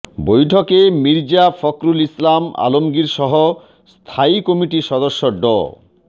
বৈঠকে মির্জা ফখরুল ইসলাম আলমগীরসহ স্থায়ী কমিটির সদস্য ড